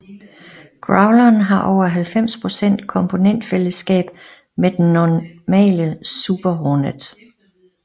Growleren har over 90 procent komponentfællesskab med den normale Super Hornet